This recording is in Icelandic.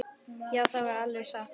Já, það er alveg satt.